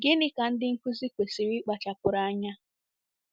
Gịnị ka ndị nkụzi kwesịrị ịkpachapụrụ anya?